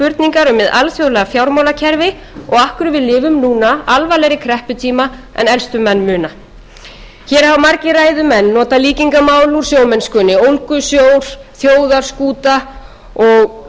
grundvallarspurningar með alþjóðlega fjármálakerfi og af hverju við lifum núna alvarlegri krepputíma en elstu menn muna hér hafa margir ræðumenn notað líkingamál úr sjómennskunni ólgusjór þjóðarskúta og boðaföll en